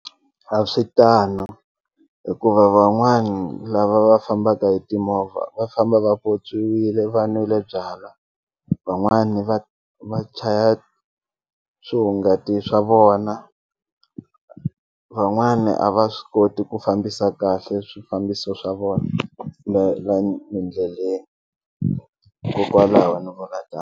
A swi tano hikuva van'wani lava va fambaka hi timovha va famba va pyopyiwile va nwile byalwa van'wani va va chaya swihungati swa vona van'wani a va swi koti ku fambisa kahle swifambiso swa vona endleleni hikokwalaho ni vula .